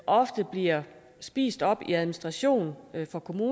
ofte bliver spist op i administrationsomkostninger